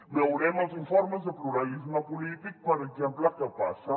veurem als informes de pluralisme polític per exemple què passa